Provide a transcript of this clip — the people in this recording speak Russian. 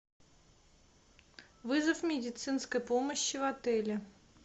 вызов медицинской помощи в отеле